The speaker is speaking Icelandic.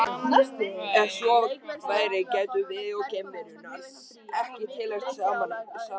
Ef svo væri gætum við og geimverunnar ekki tilheyrt sama heiminum.